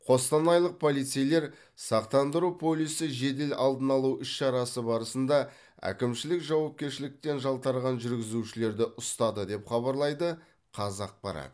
қостанайлық полицейлер сақтандыру полисі жедел алдын алу іс шарасы барысында әкімшілік жауапкершіліктен жалтарған жүргізушілерді ұстады деп хабарлайды қазақпарат